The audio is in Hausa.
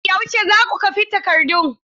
Yaushe za ku kwafi takardun?